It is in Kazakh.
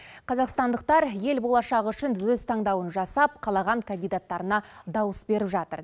қазақстандықтар ел болашағы үшін өз таңдауын жасап қалаған кандидаттарына дауыс беріп жатыр